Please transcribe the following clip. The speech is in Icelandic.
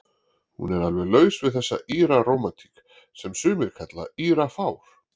Hún er alveg laus við þessa Íra-rómantík, sem sumir kalla Írafár.